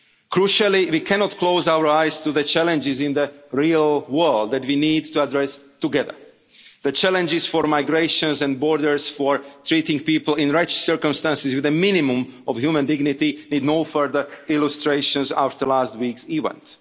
nowhere. Crucially, we cannot close our eyes to the challenges in the real world that we need to address together. The challenges for migration and borders, for treating people in wretched circumstances with a minimum of human dignity, need no further illustrations after last week's